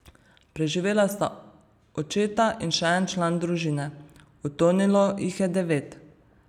Preživela sta očeta in še en član družine, utonilo jih je devet.